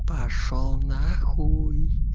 пошёл нахуй